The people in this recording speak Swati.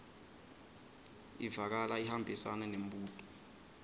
ivakala ihambisana nembuto